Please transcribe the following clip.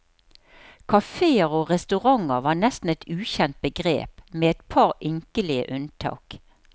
Kaféer og restauranter var nesten et ukjent begrep, med et par ynkelige unntak.